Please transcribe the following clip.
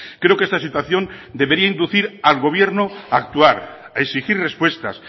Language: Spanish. creo que esta situación debería inducir al gobierno a actuar a exigir respuestas